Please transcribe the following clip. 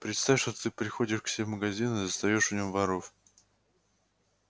представь теперь что ты приходишь к себе в магазин и застаёшь в нем воров